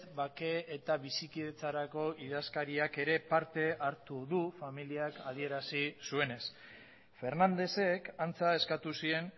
bake eta bizikidetzarako idazkariak ere parte hartu du familiak adierazi zuenez fernandezek antza eskatu zien